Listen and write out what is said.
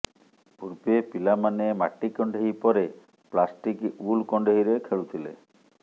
ପୂର୍ବେ ପିଲାମାନେ ମାଟି କଣ୍ଢେଇ ପରେ ପ୍ଲାଷ୍ଟିକ୍ ଉଲ୍ କଣ୍ଢେଇରେ ଖେଳୁଥିଲେ